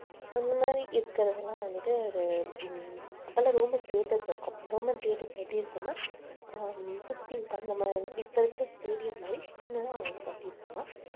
அந்த மாதிரி இருக்கிறதெல்லாம் வந்துட்டு ஒரு உம் அப்ப எல்லாம் roman theaters இருக்கும் roman theaters எப்படி இருக்கும்னா அஹ் சுத்தி நம்ம இப்ப இருக்கிற stadium மாதிரி சின்னதா அவங்க வந்து கட்டி இருப்பாங்க